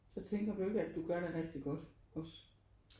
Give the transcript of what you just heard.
Så tænker du ikke at du gør det rigtig godt også?